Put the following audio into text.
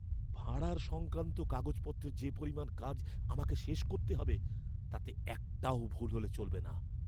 ভাঁড়ার সংক্রান্ত কাগজপত্রের যে পরিমাণ কাজ আমাকে শেষ করতে হবে, তাতে একটাও ভুল হলে চলবে না।